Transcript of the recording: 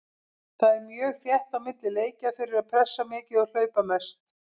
Það er mjög þétt á milli leikja, þeir eru pressa mikið og hlaupa mest.